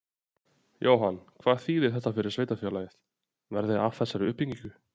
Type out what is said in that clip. Jóhann: Hvað þýðir þetta fyrir sveitarfélagið, verði af þessari uppbyggingu?